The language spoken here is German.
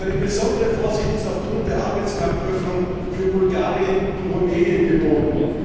Eine besondere Vorsicht ist aufgrund der Arbeitsmarktöffnung für Bulgarien und Rumänien geboten.